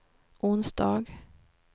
onsdag